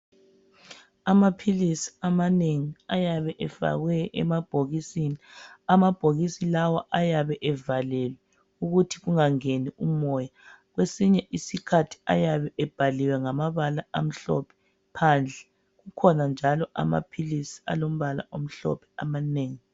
Amaphilisi amanengi ayabe efakwe emabhokisini. Amabhokisi lawa ayabe evalelwe ukuthi kungangeni umoya. Kwesinye isikhathi ayabe ebhaliwe ngamabala amhlophe phandle. Kukhona njalo amaphilisi alombala omhlophe amanengi.